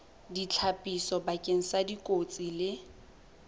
ditlhapiso bakeng sa dikotsi le